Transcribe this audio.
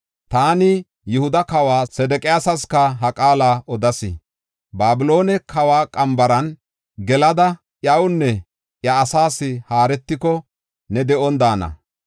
Taani, Yihuda kawa Sedeqiyaasaska ha qaala odas; “Babiloone kawa qambaran gelada iyawunne iya asaas haaretiko, ne de7on daana.